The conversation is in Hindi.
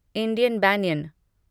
इंडियन बनयान